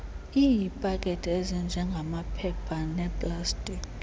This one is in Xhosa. iipakethe ezinjengamaphepha neplastiki